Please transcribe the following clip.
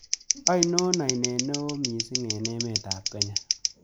Ainon aineet ne oo misiing' eng' emetap kenya